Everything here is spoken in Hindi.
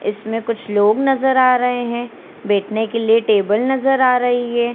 इसमें कुछ लो नज़र आ रहे हैं बेठने के लिए टेबल नज़र आ रही है।